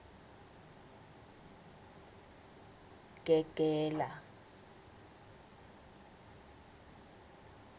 gegela